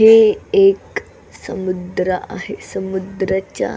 हे एक समुद्र आहे समुद्राच्या--